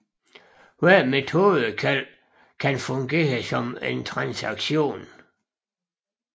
Hvert metodekald kan fungere som en transaktion